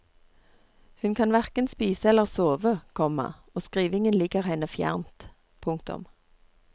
Hun kan hverken spise eller sove, komma og skrivingen ligger henne fjernt. punktum